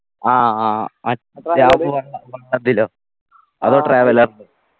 ആ ആ മറ്റെ അതിലൊ അതോ traveller ലോ